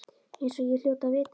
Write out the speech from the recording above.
Eins og ég hljóti að vita.